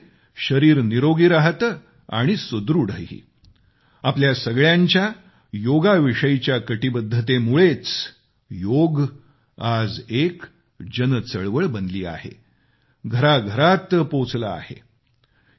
योगामुळे शरीर निरोगी राहते आणि सुदृढही आपल्या सगळ्यांच्या योगाविषयाच्या कटीबद्धतेमुळेच योग आज एक जनचळवळ बनले आहे घराघरात पोचले आहे